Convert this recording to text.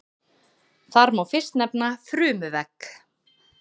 Þar má fyrst nefna frumuvegg.